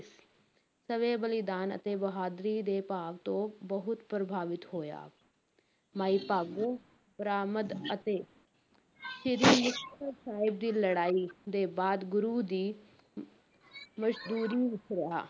ਸਵੈ-ਬਲੀਦਾਨ, ਅਤੇ ਬਹਾਦਰੀ ਦੇ ਭਾਵ ਤੋਂ ਬਹੁਤ ਪ੍ਰਭਾਵਿਤ ਹੋਇਆ, ਮਾਈ ਭਾਗੋ ਬਰਾਮਦ ਅਤੇ ਸ੍ਰੀ ਮੁਕਤਸਰ ਸਾਹਿਬ ਦੀ ਲੜਾਈ ਦੇ ਬਾਅਦ ਗੁਰੂ ਦੀ ਵਿੱਚ ਰਿਹਾ।